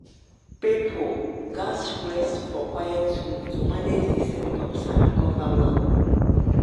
people gatz rest for quiet room to manage di symptoms and recover well.